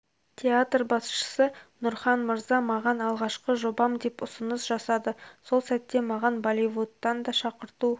театр басшысы нұрхан мырза маған алғашқы жобам деп ұсыныс жасады сол сәтте маған болливудтан да шақырту